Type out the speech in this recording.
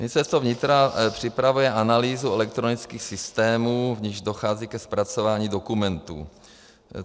Ministerstvo vnitra připravuje analýzu elektronických systémů, v nichž dochází ke zpracování dokumentů.